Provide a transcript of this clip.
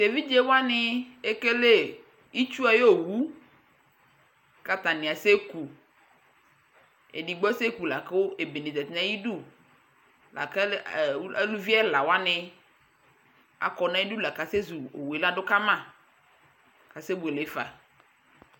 Tʋ evidze wanɩ ekele itsu ayʋ owu kʋ atanɩ asɛku Edigbo asɛku la kʋ ebene zati nʋ ayidu la kʋ alʋ ɛ ɔ aluvi ɛla wanɩ akɔ nʋ ayidu la kʋ asɛzu owu yɛ la dʋ ka ma kasɛbuele fa